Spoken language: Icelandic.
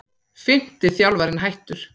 Fimmti þjálfarinn hættur